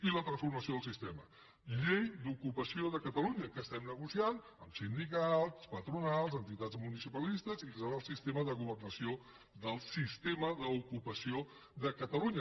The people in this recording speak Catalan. i la transformació del sistema llei d’ocupació de catalunya que estem negociant amb sindicats patronals entitats municipalistes i que serà el sistema de governació del sistema d’ocupació de catalunya